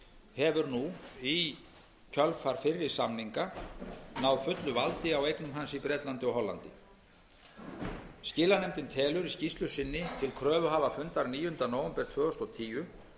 hefur nú í kjölfar fyrri samninga náð fullu valdi á eignum hans í bretlandi og hollandi skilanefndin telur í skýrslu sinni til kröfuhafafundar níunda nóvember tvö þúsund og tíu